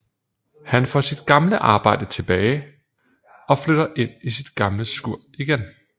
Han får sit gamle arbejde til tilbage og flytter ind i sit gamle skur igen